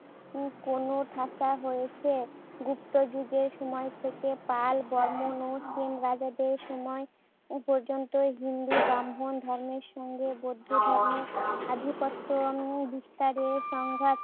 উম কোণঠাসা হয়েছে। গুপ্ত যুগের সময় থেকে পাল, বর্মণ ও সেন রাজাদের সময় পর্যন্ত হিন্দু, ব্রাহ্মণ ধর্মের সঙ্গে বৌদ্ধ ধর্মের আধিপত্য নিয়ে বিস্তারের সংঘাত